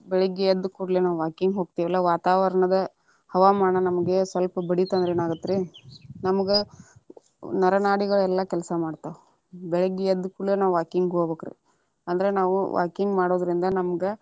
ಬೆಳಿಗ್ಗೆ ಎದ್ದ ಕುಡ್ಲೆನೇ walking ಹೊಕ್ಕೆವಲ್ಲಾ ವಾತಾವರಣದ ಹವಾಮಾನ ನಮಗೆ ಸ್ವಲ್ಪ ಬಡಿತಂದ್ರ ಏನ ಆಗತ್ತ ರೀ ನಮಗ ನರ ನಾಡಿಗಳೆಲ್ಲಾ ಕೆಲಸ ಮಾಡ್ತಾವ ಬೆಳಿಗ್ಗೆ ಎದ್ದ ಕುಡ್ಲೆ ನಾವ walking ಹೋಗ್ಬೇಕರೀ ಅಂದ್ರ ನಾವ walking ಮಾಡುದರಿಂದ ನಮಗ.